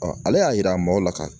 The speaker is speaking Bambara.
ale y'a yira maaw la ka